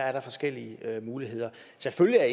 er der forskellige muligheder selvfølgelig er